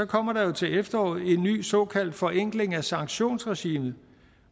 kommer der jo til efteråret en ny såkaldt forenkling af sanktionsregimet